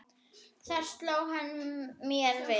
Þar sló hann mér við.